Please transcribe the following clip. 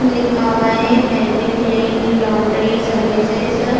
लिखा हुआ है फैब्रिक क्लीन लॉन्ड्री सर्विसेस